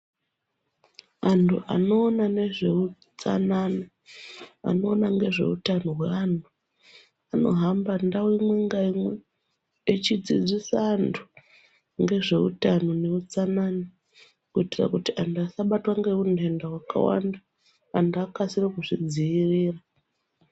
Antu anoona ngezveutsanana , anoona ngezveutano hweantu anohamba Ndau imwe ngeimwe echidzidzisa antu ngezveutano neutsanana kuitira kuti antu asabatwe ngeundenda wakawanda ,antu akasire kuzvidzivirira .